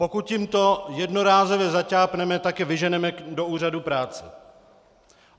Pokud jim to jednorázově zaťápneme, tak je vyženeme do úřadů práce.